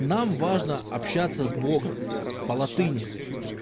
нам важно общаться с богом по-латыни